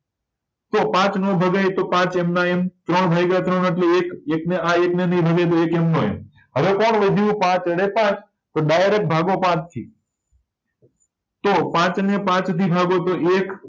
તો પાંચનો ભગાય તો પાંચ એમના એમ ત્રણ ભાયગા ત્રણ એટલે એક એકને આ એક નય ભગાય તો એક એમનો એમ હવે કોણ વધ્યું પાચડેપાંચ તો ડાયરેક્ટ ભાંગો પાંચથી તો પાંચને પાંચથી ભાગો તો એક